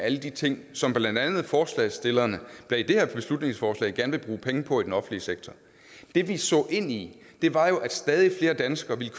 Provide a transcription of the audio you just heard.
af alle de ting som blandt andet forslagsstillerne bag det her beslutningsforslag gerne vil bruge penge på i den offentlige sektor det vi så ind i var at at stadig flere danskere ville